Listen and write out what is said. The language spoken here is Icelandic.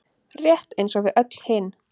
Rétt eins og við öll hin.